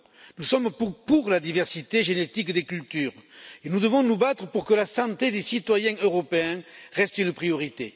Nous sommes pour la diversité génétique des cultures et nous devons nous battre pour que la santé des citoyens européens reste une priorité.